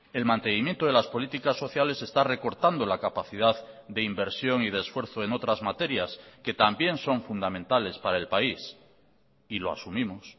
el mantenimiento de las políticas sociales está recortando la capacidad de inversión y de esfuerzo en otras materias que también son fundamentales para el país y lo asumimos